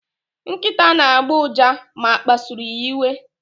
Nkịta na-agbọ ụja ma a kpasuru ya iwe.